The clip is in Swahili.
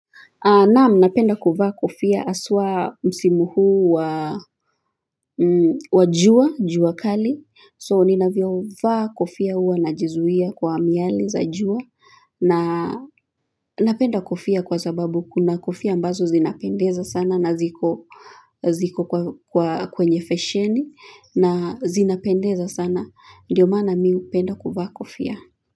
Naam, napenda kuvaa kofia haswa msimu huu wa jua, jua kali. So, ninavyovaa kofia huwa najizuia kwa miale za jua. Na napenda kofia kwa sababu kuna kofia ambazo zinapendeza sana na ziko kwenye fesheni. Na zinapendeza sana. Ndiyo maana mimi hupenda kuvaa kofia.